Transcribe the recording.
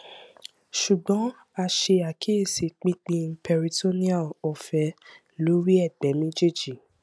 ṣugbọn a ṣe akiyesi pipin peritoneal ọfẹ lori ẹgbẹ mejeeji